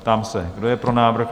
Ptám se, kdo je pro návrh?